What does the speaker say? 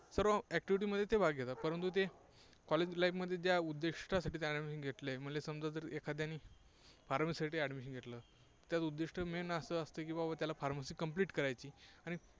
सर्व activity मध्ये ते भाग घेतात. परंतु ते College life मध्ये ज्या उद्दिष्टांसाठी admission घेतलंय, म्हणले समजा जर एखाद्याने pharmacy साठी admission घेतलं तर उद्दिष्ट main असं असतं की बाबा त्याला pharmacy complete करायची आणि